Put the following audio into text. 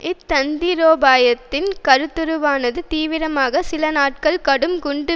இத் தந்திரோபாயத்தின் கருத்துருவானது தீவிரமாக சில நாட்கள் கடும் குண்டு